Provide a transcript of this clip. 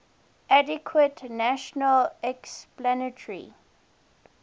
adequate natural explanatory